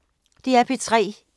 DR P3